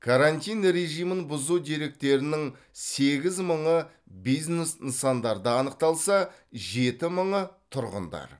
карантин режимін бұзу деректерінің сегіз мыңы бизнес нысандарда анықталса жеті мыңы тұрғындар